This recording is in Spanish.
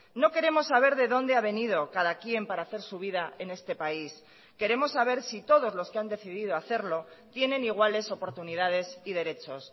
no queremos saber de dónde ha venido cada quién para hacer su vida en este país queremos saber si todos los que han decidido hacerlo tienen iguales oportunidades y derechos